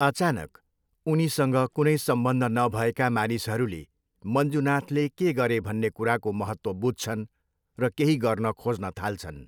अचानक, उनीसँग कुनै सम्बन्ध नभएका मानिसहरूले मञ्जुनाथले के गरे भन्ने कुराको महत्त्व बुझ्छन् र केही गर्न खोज्न थाल्छन्।